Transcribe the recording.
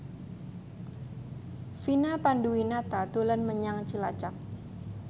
Vina Panduwinata dolan menyang Cilacap